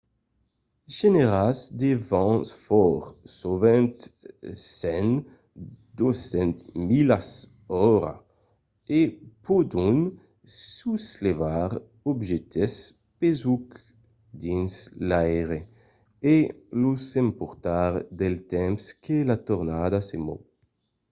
genèran de vents fòrts sovent 100-200 milas/ora e pòdon soslevar d’objèctes pesucs dins l’aire e los emportar del temps que la tornada se mòu